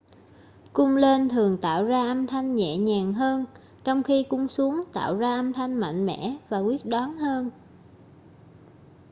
cung lên thường tạo ra âm thanh nhẹ nhàng hơn trong khi cung xuống tạo ra âm thanh mạnh mẽ và quyết đoán hơn